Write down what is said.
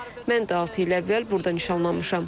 Mən də altı il əvvəl burda nişanlanmışam.